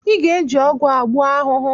Ịga-eji ọgwụ a gbuo ahụhụ!